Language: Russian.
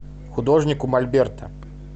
художник у мольберта